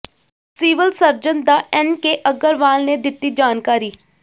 civil surgeon Dr N K Agarwal ਨੇ ਦਿੱਤੀ ਜਾਣਕਾਰੀ